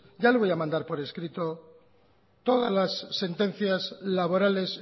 ya le voy a mandar por escrito todas las sentencias laborales